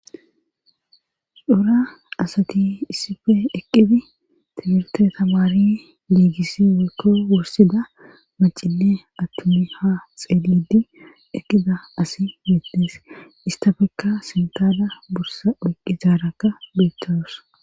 Cora asati issife eqqidi tibirte tamari diigisi wekko wursida macille attumi ha xeeledi eqqida asi miettees istafekka sintada bursa oyqqi zaarakka beettowos